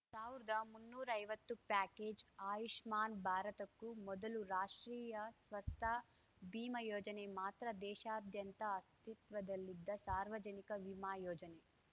ಸಾವ್ರ್ದಾ ಮುನ್ನೂರೈವತ್ತು ಪ್ಯಾಕೇಜ್‌ ಆಯುಷ್ಮಾನ್‌ ಭಾರತಕ್ಕೂ ಮೊದಲು ರಾಷ್ಟ್ರೀಯ ಸ್ವಸ್ಥ ಬಿಮಾ ಯೋಜನೆ ಮಾತ್ರ ದೇಶಾದ್ಯಂತ ಅಸ್ತಿತ್ವದಲ್ಲಿದ್ದ ಸಾರ್ವಜನಿಕ ವಿಮಾ ಯೋಜನೆ